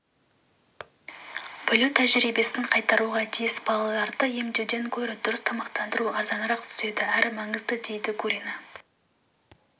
бөлу тәжірибесін қайтаруға тиіс балаларды емдеуден гөрі дұрыс тамақтандыру арзанырақ түседі әрі маңызды дейді гурина